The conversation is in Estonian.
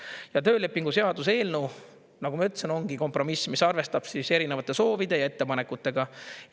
Ja töölepingu seaduse eelnõu, nagu ma ütlesin, ongi kompromiss, mis arvestab erinevate soovide ja ettepanekutega.